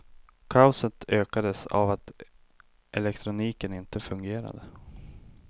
Kaoset ökades av att elektroniken inte fungerade.